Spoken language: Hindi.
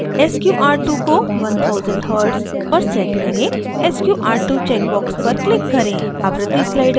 plot window पर sqr2 को 1000 hz पर set करें sqr2 check box पर click करें